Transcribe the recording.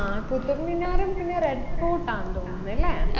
ആ കുത്തബ്മിനാറും പിന്നെ റെഡ്ഫോർഡ് ആന്ന് തോന്നുന്ന് അല്ലെ